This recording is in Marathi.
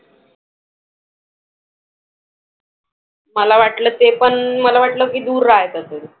मला वाटलं ते पण मला वाटलं की दूर राहत असेल.